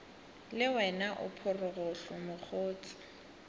le wena o phorogohlo mokgotse